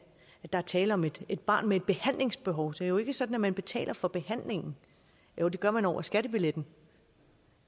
der er tale om et et barn med et behandlingsbehov så det er jo ikke sådan at man betaler for behandlingen jo det gør man over skattebilletten